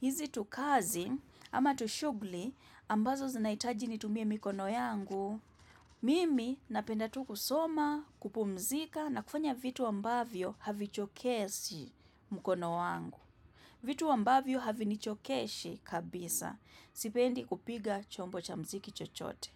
hizi tukazi, ama tushugli, ambazo zinahitaji nitumie mikono yangu. Mimi napenda tu kusoma, kupumzika, na kufanya vitu ambavyo havichokeshi mkono wangu. Vitu ambavyo havinichokeshi kabisa. Sipendi kupiga chombo cha mziki chochote.